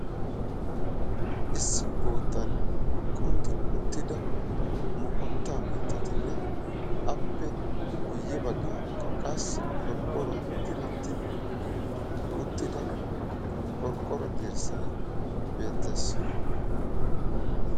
issi boottan kunddi uttida moqotaa mitattinne appe guye bagaara qassi qorqqoruwan diretti uttida qorqqoro dirtssay beetees.